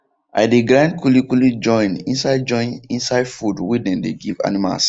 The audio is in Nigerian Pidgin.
i de grind kuli kuli join inside join inside food wey dem de give animals